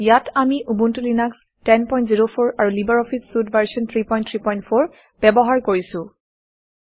ইয়াত আমি Ubuntu Linux 1004 আৰু লিবাৰঅফিছ চুইট ভাৰ্চন 334 ব্যৱহাৰ কৰিছোঁ